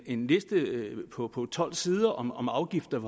en liste på på tolv sider om om afgifter